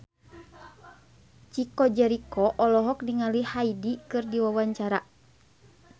Chico Jericho olohok ningali Hyde keur diwawancara